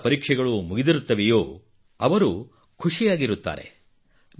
ಯಾರ ಪರೀಕ್ಷೆಗಳು ಮುಗಿದಿರುತ್ತವೆಯೋ ಅವರು ಖುಷಿಯಾಗಿರುತ್ತಾರೆ